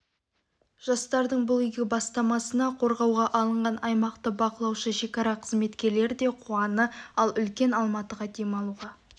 жастардың бұл игі бастамасына қорғауға алынған аймақты бақылаушы шекара қызметкерлері де қуаны ал үлкен алматыға демалуға